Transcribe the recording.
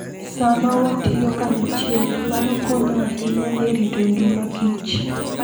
Sama watiyo kanyachiel, mano konyo ahinya e rito ngima kich.